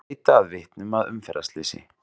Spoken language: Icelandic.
Leita að vitnum að umferðarslysi